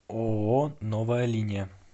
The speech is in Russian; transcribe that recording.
ооо новая линия